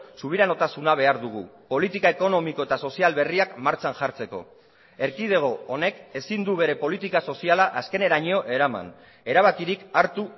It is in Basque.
subiranotasuna behar dugu politika ekonomiko eta sozial berriak martxan jartzeko erkidego honek ezin du bere politika soziala azkeneraino eraman erabakirik hartu